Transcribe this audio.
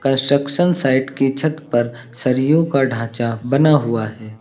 Construction site की छत पर सरियों का ढांचा बना हुआ है।